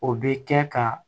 O bɛ kɛ ka